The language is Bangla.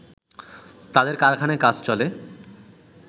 তাদের কারখানায় কাজ চলে